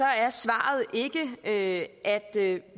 er svaret ikke at